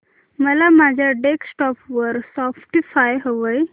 मला माझ्या डेस्कटॉप वर स्पॉटीफाय हवंय